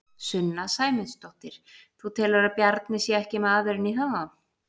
Sunna Sæmundsdóttir: Þú telur að Bjarni sé ekki maðurinn í það?